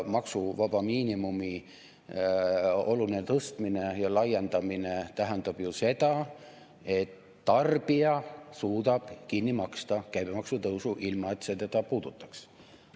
Maksuvaba miinimumi oluline tõstmine ja laiendamine tähendab ju seda, et tarbija suudab kinni maksta käibemaksu tõusu, ilma et see teda puudutaks.